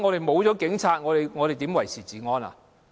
沒有警察，如何維持治安？